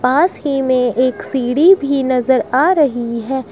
पास ही में एक सीढी भी नजर आ रही है।